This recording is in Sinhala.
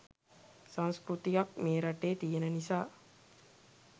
සංස්කෘතියක් මේ රටේ තියන නිසා.